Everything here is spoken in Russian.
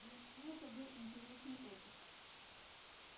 для меня это был интересный опыт